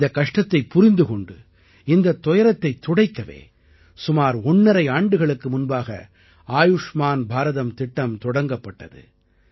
இந்தக் கஷ்டத்தைப் புரிந்து கொண்டு இந்தத் துயரத்தைத் துடைக்கவே சுமார் ஒண்ணரை ஆண்டுகளுக்கு முன்பாக ஆயுஷ்மான் பாரதம் திட்டம் தொடங்கப்பட்டது